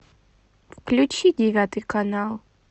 включи девятый канал